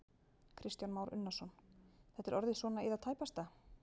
Kristján Már Unnarsson: Þetta er orðið svona í það tæpasta?